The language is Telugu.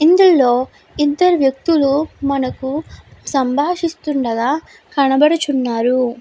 ఇందులో ఇద్దరు వ్యక్తులు మనకి సంభాషిస్తుండగా కనబడుచున్నారు.